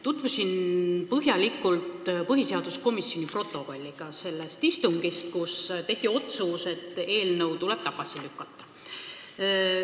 Tutvusin põhjalikult põhiseaduskomisjoni protokolliga selle istungi kohta, kus tehti otsus, et eelnõu tuleb tagasi lükata.